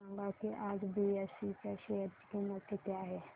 हे सांगा की आज बीएसई च्या शेअर ची किंमत किती आहे